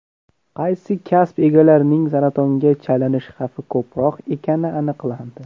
Qaysi kasb egalarining saratonga chalinish xavfi ko‘proq ekani aniqlandi.